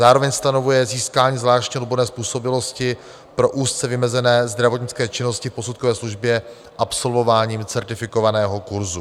Zároveň stanovuje získání zvláštní odborné způsobilosti pro úzce vymezené zdravotnické činnosti v posudkové službě absolvováním certifikovaného kurzu.